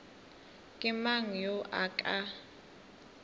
ke mang yo a ka